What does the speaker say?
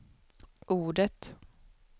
ordet